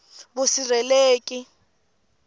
vusirheleleki